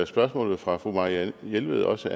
spørgsmålet fra fru marianne jelved også